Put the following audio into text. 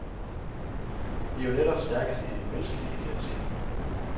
Vi er jo netop stærkest i de menneskelige fællesskaber.